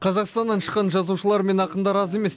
қазақстаннан шыққан жазушылар мен ақындар аз емес